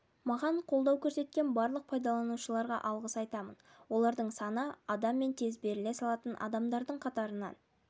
маған қолдау көрсеткен барлық пайдаланушыларға алғыс айтамын олардың саны адам мен тез беріле салатын адамдардың қатарынан